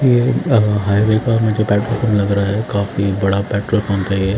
ये हाईवे का मुझे पेट्रोल पंप लग रहा है काफी बड़ा पेट्रोल पंप है ये--